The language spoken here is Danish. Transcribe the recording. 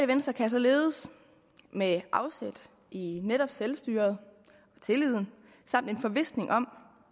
venstre kan således med afsæt i netop selvstyret tilliden samt en forvisning om